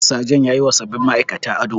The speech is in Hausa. Sajan yayiwa sabbin ma'aikatan ado.